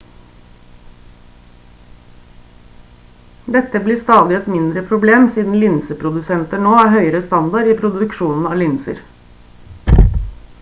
dette blir stadig et mindre problem siden linseprodusenter nå har høyere standard i produksjonen av linser